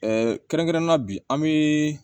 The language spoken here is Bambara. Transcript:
kɛrɛnkɛrɛnnenya bi an bi